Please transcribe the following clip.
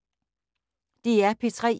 DR P3